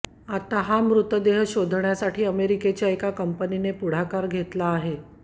आता हा मृतदेह शोधण्यासाठी अमेरिकेच्या एका कंपनीने पुढाकार घेतला आहे